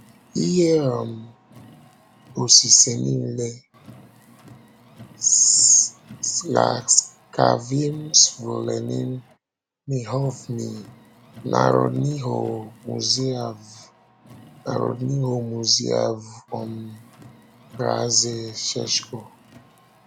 Ihe um osise nile: S laskavým svolením knihovny Národního muzea v Národního muzea v um Praze, C̆esko